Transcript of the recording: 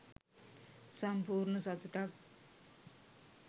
සම්පූර්ණ සතුටක්